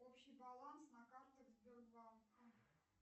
общий баланс на картах сбербанка